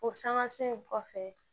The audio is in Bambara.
O sanŋa si in kɔfɛ